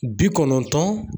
Bi kɔnɔntɔn